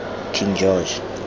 king george